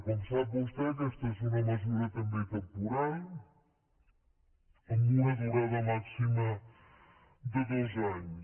com sap vostè aquesta és una mesura també temporal amb una durada màxima de dos anys